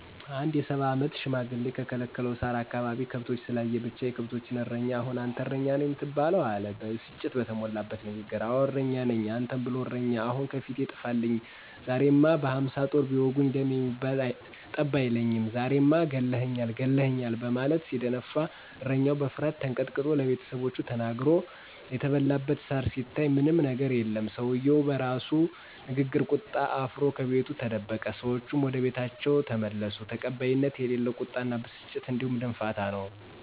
አንድ የ፸ አመት ሽማግሌ በከለከለው ሳር አካባቢ ከብቶችን ስላየ ብቻ፤ የከብቶችን እረኛ አሁን አንተ እረኛ ነው የምትባለው! አለ ብስጭት በተሞላበት ንግግር። አወ እረኛ ነኝ። አንተን ብሎ እረኛ ! አሁን ከፊቴ ጥፈኝ! ዛሬማ በ፶ ጦር ቢወጉኝ ደም የሚባል ጠብ አይለኝም! ዛሬማ ለቁሜ ገለህኛል! ገለህኛል! በማለት ሲደነፋ እረኛው በፍርሀት ተንቀጥቅጦ ለቤተሰቦቹ ተናግሮ የተበላበት ሳር ሲታይ ምንም የገር የለም። ሰውየው በራሱ ንግግርና ቁጣ አፍሮ ከቤቱ ተደበቀ። ሰዎቹም ወደቤታቸው ተመለሱ። ተቀባይነት የሌለው ቁጣና ብስጭት እንዲሁም ድንፋታ ነው።